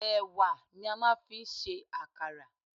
Ẹ̀wà ni a máa fi ń ṣe àkàrà.